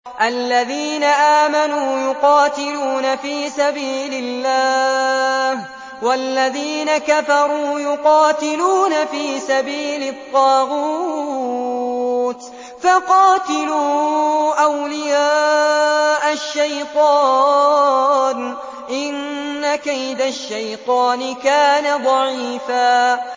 الَّذِينَ آمَنُوا يُقَاتِلُونَ فِي سَبِيلِ اللَّهِ ۖ وَالَّذِينَ كَفَرُوا يُقَاتِلُونَ فِي سَبِيلِ الطَّاغُوتِ فَقَاتِلُوا أَوْلِيَاءَ الشَّيْطَانِ ۖ إِنَّ كَيْدَ الشَّيْطَانِ كَانَ ضَعِيفًا